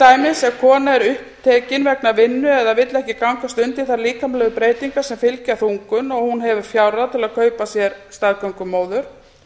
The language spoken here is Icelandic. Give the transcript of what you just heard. á ef kona er upptekin vegna vinnu eða vill ekki gangast undir þær líkamlegu breytingar sem fylgja þungun og hún hefur fjárráð til að kaupa sér staðgöngumóður